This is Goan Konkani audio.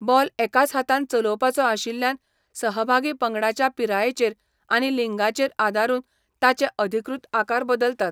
बॉल एकाच हातान चलोवपाचो आशिल्ल्यान, सहभागी पंगडांच्या पिरायेचेर आनी लिंगाचेर आदारून ताचे अधिकृत आकार बदलतात.